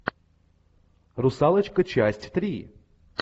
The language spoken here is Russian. русалочка часть три